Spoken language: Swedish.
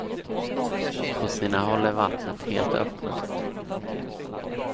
På sina håll är vattnet helt öppet.